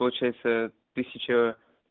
получается тысяча